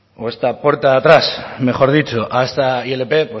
o esta puerta atrás mejor dicho a esta ilp